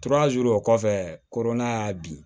o kɔfɛ korona in y'a bin